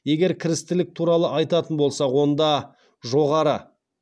егер кірістілік туралы айтатын болсақ онда жоғары